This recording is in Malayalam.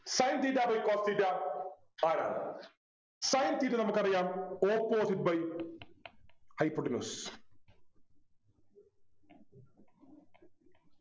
Sin theta by cos theta ആരാണ് Sin theta നമുക്കറിയാം Opposite by hypotenuse